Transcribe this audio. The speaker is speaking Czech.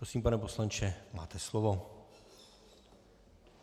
Prosím, pane poslanče, máte slovo.